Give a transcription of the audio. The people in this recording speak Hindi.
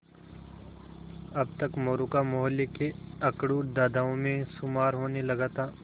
अब तक मोरू का मौहल्ले के अकड़ू दादाओं में शुमार होने लगा था